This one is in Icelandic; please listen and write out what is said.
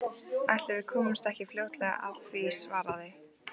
Ætli við komumst ekki fljótlega að því- svaraði